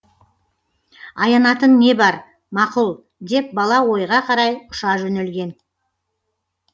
аянатын не бар мақұл деп бала ойға қарай ұша жөнелген